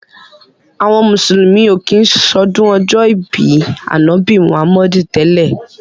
Àwọn mùsùlùmí ò kí ń ṣọdún ọjọ́ ìbí Ànábì Muhammadu tẹ́lẹ̀.